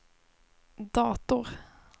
dator